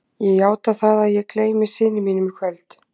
Ég játa það að ég gleymi syni mínum í kvöld.